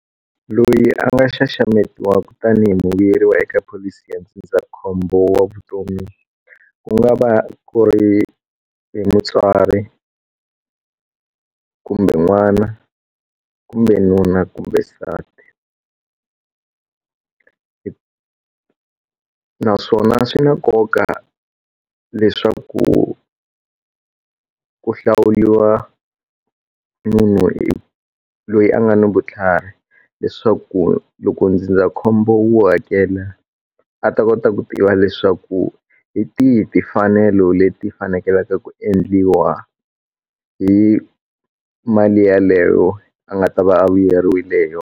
Loyi a nga xaxametiwaku tanihi muvuyeriwa eka pholisi ya ndzindzakhombo wa vutomi ku nga va ku ri hi mutswari kumbe n'wana kumbe nuna kumbe nsati hi naswona swi na nkoka leswaku ku hlawuriwa munhu loyi a nga na vutlhari leswaku loko ndzindzakhombo wu hakela a ta kota ku tiva leswaku hi tihi timfanelo leti fanekelaka ku endliwa hi mali yaleyo a nga ta va a vuyeriwile ho yona.